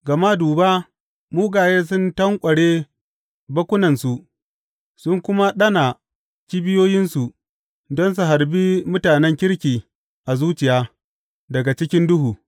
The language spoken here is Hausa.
Gama duba, mugaye sun tanƙware bakkunansu; sun kuma ɗana kibiyoyinsu don su harbi mutanen kirki a zuciya daga cikin duhu.